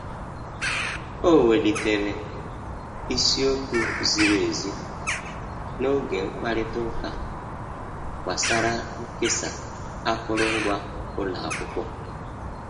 O welitere isi okwu ziri ezi n'oge mkpakorịta ụka gbasara nkesa akụrụngwa ụlọ akwụkwọ.